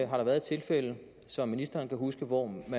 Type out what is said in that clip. har været et tilfælde som ministeren kan huske hvor